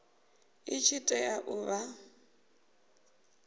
i tshi tea u vha